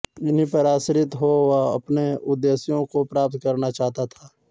इन्हीं पर आश्रित हो वह अपने उद्देश्यों को प्राप्त करना चाहता था